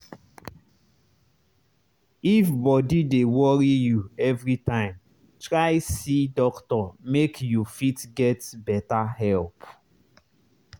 if body dey worry you everytime try see doctor make you fit get better help.